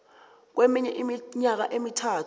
kweminye iminyaka emithathu